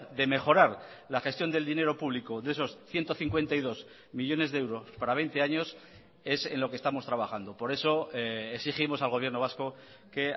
de mejorar la gestión del dinero público de esos ciento cincuenta y dos millónes de euros para veinte años es en lo que estamos trabajando por eso exigimos al gobierno vasco que